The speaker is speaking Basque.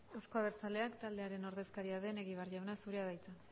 euzko abertzaleak taldearen ordezkaria den egibar jauna zurea da hitza